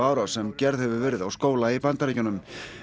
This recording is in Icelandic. árás sem gerð hefur verið á skóla í Bandaríkjunum